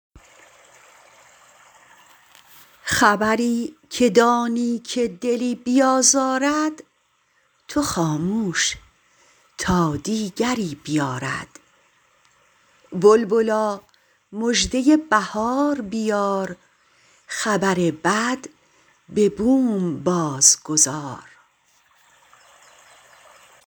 خبری که دانی که دلی بیازارد تو خاموش تا دیگری بیارد بلبلا مژده بهار بیار خبر بد به بوم باز گذار